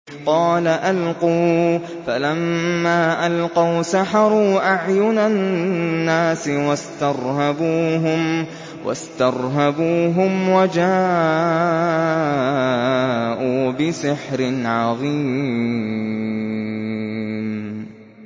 قَالَ أَلْقُوا ۖ فَلَمَّا أَلْقَوْا سَحَرُوا أَعْيُنَ النَّاسِ وَاسْتَرْهَبُوهُمْ وَجَاءُوا بِسِحْرٍ عَظِيمٍ